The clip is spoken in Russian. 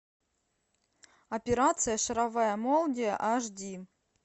операция шаровая молния аш ди